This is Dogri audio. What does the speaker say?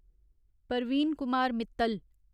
परवीन कुमार मित्तल